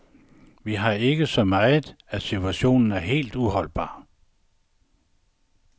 Vi har ikke så meget, og situationen er helt uholdbar.